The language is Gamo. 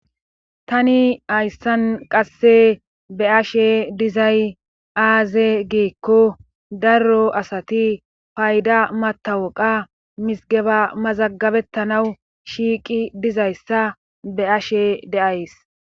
Tani hayssan qasse be ashe dizay aaze giikko daro asati payda matawoqa misgeba mazagabettanawu shiiqi dizayssa be ashe deays